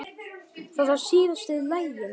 Það var síðasta lagið.